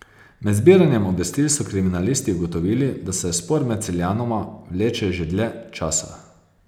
Med zbiranjem obvestil so kriminalisti ugotovili, da se spor med Celjanoma vleče že dlje časa.